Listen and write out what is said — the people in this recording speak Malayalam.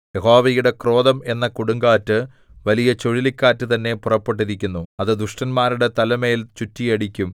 യഹോവയുടെ ക്രോധം എന്ന കൊടുങ്കാറ്റ് വലിയ ചുഴലിക്കാറ്റ് തന്നെ പുറപ്പെട്ടിരിക്കുന്നു അത് ദുഷ്ടന്മാരുടെ തലമേൽ ചുറ്റിയടിക്കും